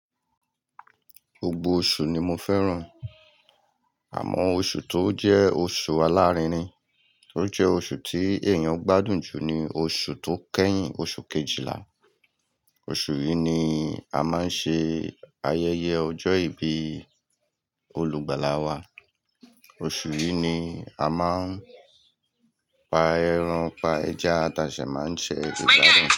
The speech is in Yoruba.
Gbogbo oṣù ni mo fẹ́ràn. Àmọ́ oṣù tó jẹ́ oṣù alárinrin, tó jẹ́ oṣù tí èèyàn gbádùn jù ni oṣù tó kẹ́yìn oṣù kejìlá. Oṣù yìí ni a máa ń ṣe ayẹyẹ ọjọ́ ìbí olùgbàlà wa. Oṣù yìí ni a máa ń pa ẹran, pa ẹja, ti a si máa ń ṣe Ìṣẹ́ gbádùn.